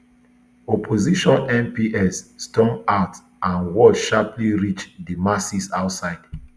opposition mps storm out and word sharply reach di masses outside